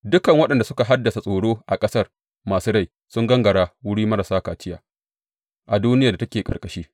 Dukan waɗanda suka haddasa tsoro a ƙasar masu rai sun gangara wurin marasa kaciya a duniyar da take ƙarƙashi.